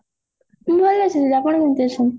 ମୁଁ ଭଲ ଅଛି ଦିଦି ଆପଣ କେମତି ଅଛନ୍ତି?